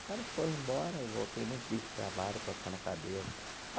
Elas foram embora, eu voltei muito triste para o trabalho, coçando a cabeça.